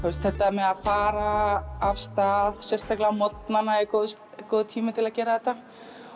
þetta með að fara af stað sérstaklega á morgnana er góður góður tími til að gera þetta